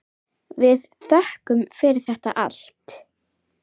Við þökkum fyrir þetta allt.